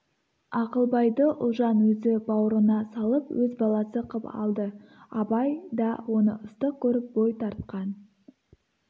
ақылбайды ұлжан өзі баурына салып өз баласы қып алды абай да оны ыстық көріп бой тартқан